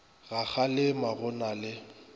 ga kgalema go na le